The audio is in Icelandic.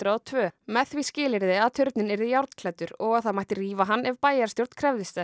og tvö með því skilyrði að turninn yrði og að það mætti rífa hann ef bæjarstjórn krefðist þess